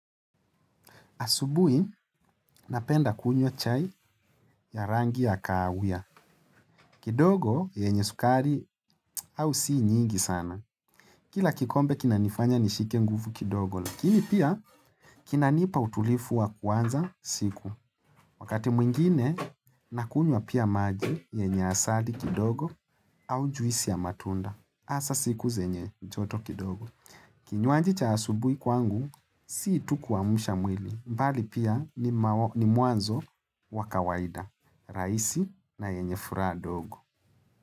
Asubuhi, napenda kunywa chai ya rangi ya kahawia. Kidogo, yenye sukari au si nyingi sana. Kila kikombe, kina nifanya nishike nguvu kidogo. Lakini pia, kina nipa utulivu wa kuanza siku. Wakati mwingine, nakunywa pia maji yenye asali kidogo au juisi ya matunda. Hasa siku zenye joto kidogo. Kinywaji cha asubui kwangu, si tu kuamsha mwili. Mbali pia ni mwanzo wa kawaida, rahisi na yenye furaha ndogo.